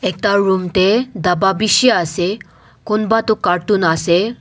ekta room teh dabba bishi ase kunba tu carton ase.